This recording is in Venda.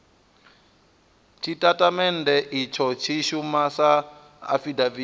tshitatamennde itsho tshi shuma sa afidaviti